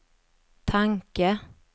tanke